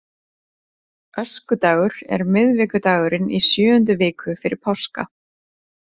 Öskudagur er miðvikudagurinn í sjöundu viku fyrir páska.